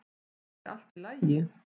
er allt í lagi